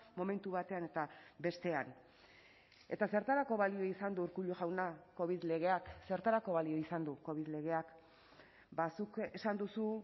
momentu batean eta bestean eta zertarako balio izan du urkullu jauna covid legeak zertarako balio izan du covid legeak ba zuk esan duzu